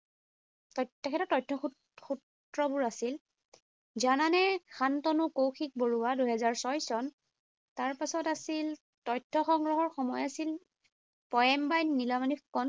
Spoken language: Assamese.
তেখেতৰ তথ্য সূ সূত্ৰবোৰ আছিল, জানানে, শান্তনু কৌশিক বৰুৱা। দুহেজাৰ ছয় চন। তাৰপিছত আছিল তথ্য সংগ্ৰহৰ সময় আছিল পয়েম বাই নীলমণি ফুকন।